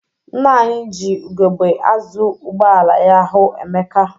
Nna anyị ji ugegbe azụ ụgbọala ya hụ Emeka.